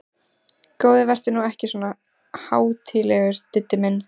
Góði vertu nú ekki svona hátíðlegur, Diddi minn!